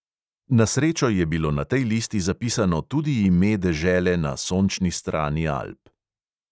Na srečo je bilo na tej listi zapisano tudi ime dežele na sončni strani alp.